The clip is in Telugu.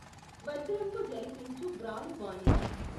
వజ్రంబు జళిపించి వ్రాలువాని